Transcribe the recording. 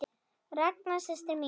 Ranka systir mín.